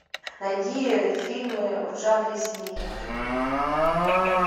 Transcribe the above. найди фильмы в жанре семейных